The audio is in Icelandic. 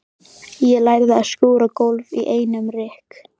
Ég lærði að skúra gólf í einum rykk.